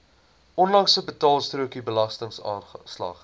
onlangse betaalstrokie belastingaanslag